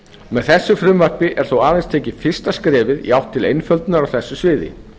með þessu frumvarpi er þó aðeins tekið fyrsta skrefið í átt til einföldunar á þessu sviði